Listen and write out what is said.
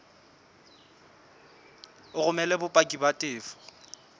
o romele bopaki ba tefo